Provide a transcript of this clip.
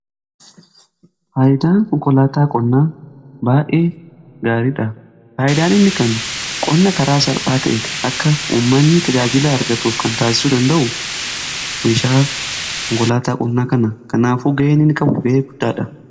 Faayidaan konkolaataa qonnaa ga'ee gaariidha. faayidaan inni kennu qonna karaa salphaa ta'e akka ummanni tajaajila argatuuf kan taasisuu danda'u meeshaa konkolaataa qonnaa kana. Kanaafuu ga'ee inni qabu ga'ee guddaadha.